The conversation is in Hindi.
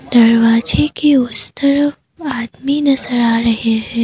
दरवाजे के उस तरफ आदमी नजर आ रहे हैं।